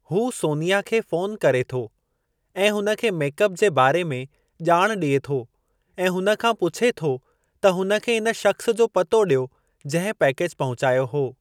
हू सोनीया खे फ़ोनु करे थो ऐं हुन खे मेकअप जे बारे में ॼाण ॾिए थो ऐं हुन खां पुछे थो त हुन खे इन शख़्स जो पतो ॾियो जंहिं पैकेज पहुचायो हो।